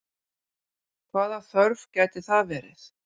Hvaða þörf gæti það verið?